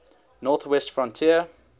north west frontier